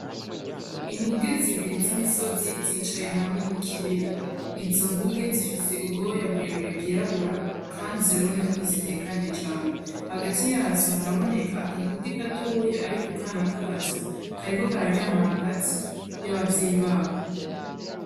Inguge zibiri z’imisozi zicaye hamwe mu kibira. Izo nguge zifise ubwoya burebure bwirabura kandi ziraboneka ko zitekanye cane , hagati yazo haraboneka akaguge gatoyi ariko akana kazo kariko kararyama hagati y’abavyeyi bako.